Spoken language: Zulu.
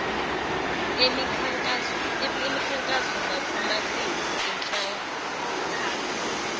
emikhankaso nakumaqembu anxantathu